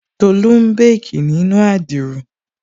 Tolú n békì nínu adiro